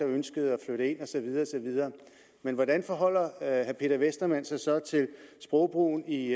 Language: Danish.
ønske at flytte ind og så videre men hvordan forholder herre peter westermann sig så til sprogbrugen i